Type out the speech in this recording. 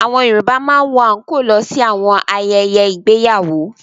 Àwọn Yorùbá máa ń wọ àńkóò lọ sí àwọn ayẹyẹ ìgbéyàwó.